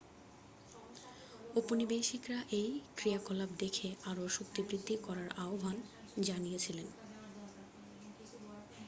ঔপনিবেশিকরা এই ক্রিয়াকলাপ দেখে আরও শক্তিবৃদ্ধি করার আহ্বান জানিয়েছিল